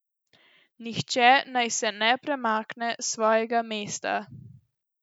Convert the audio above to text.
Nihče naj se ne premakne s svojega mesta.